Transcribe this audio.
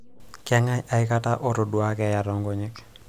kang'ae akata otodua keeya too inkonyek